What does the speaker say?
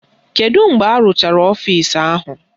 Kedu mgbe arụchara ọfisi ahụ?